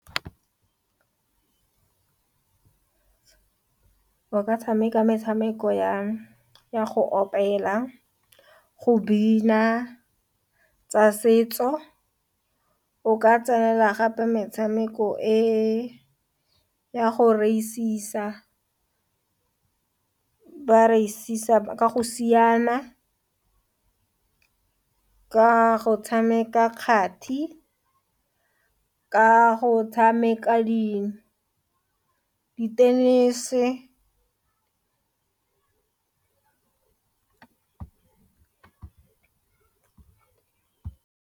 O ka tshameka metshameko ya go opela, go bina, tsa setso o ka tsenela gape metshameko e ya go raisisa, bareisisa ka go siana, ka go tshameka kgathi, ka go tshameka di tenese.